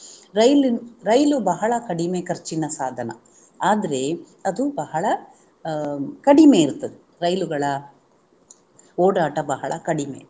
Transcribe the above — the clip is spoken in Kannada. ರೈಲಿ~ ರೈಲು ಬಹಳ ಕಡಿಮೆ ಖರ್ಚಿನ ಸಾಧನ. ಆದ್ರೆ ಅದು ಬಹಳ ಅಹ್ ಕಡಿಮೆ ಇರ್ತದೆ ರೈಲುಗಳ ಓಡಾಟ ಬಹಳ ಕಡಿಮೆ.